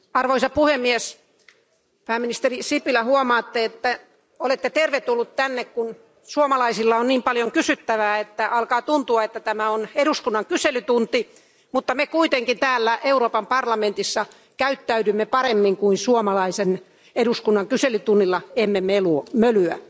Arvoisa puhemies, pääministeri Sipilä, huomaatte, että olette tervetullut tänne, kun suomalaisilla on niin paljon kysyttävää, että alkaa tuntua, että tämä on eduskunnan kyselytunti, mutta me kuitenkin täällä Euroopan parlamentissa käyttäydymme paremmin kuin suomalaisen eduskunnan kyselytunnilla, emme mölyä.